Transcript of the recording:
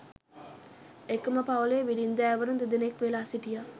එකම පවුලේ බිරින්දෑවරුන් දෙදෙනෙක් වෙලා සිටියා